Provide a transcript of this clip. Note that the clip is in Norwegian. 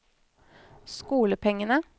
skolepengene